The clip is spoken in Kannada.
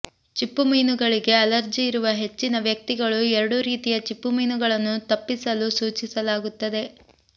ಚಿಪ್ಪುಮೀನುಗಳಿಗೆ ಅಲರ್ಜಿಯಿರುವ ಹೆಚ್ಚಿನ ವ್ಯಕ್ತಿಗಳು ಎರಡೂ ರೀತಿಯ ಚಿಪ್ಪುಮೀನುಗಳನ್ನು ತಪ್ಪಿಸಲು ಸೂಚಿಸಲಾಗುತ್ತದೆ